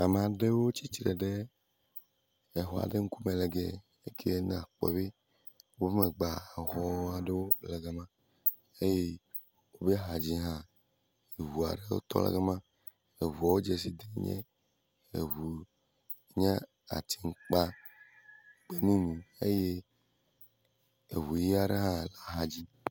Ame aɖewo tsitre ɖe exɔ aɖe ŋkume le gie. Ekie nakpɔ be wo megbea exɔ aɖewo le gama eye wexa dzi hã ŋu aɖewo tɔ ɖe gama. Eŋuawo dzesi dem mí, eŋu nye ati kpakpe mumu eye eŋu ʋi aɖe hã le axa dzi.